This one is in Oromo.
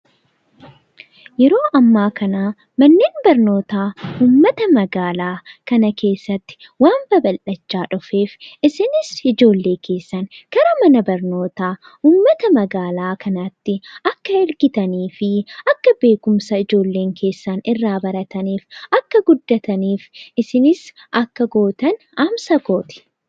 Yeroo ammaa kana manneen barnootaa uummata magaalaa kana keessatti waan babal'achaa dhufeef isinis ijoollee keessangara mana barnootaa uummata magaalaa kanaatti akka ergitanii fi akka beekumsa ijoolleen keessan irraa barataniif, akka guddataniif isinis akka gootan dhaamsa kooti!